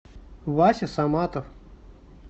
вася саматов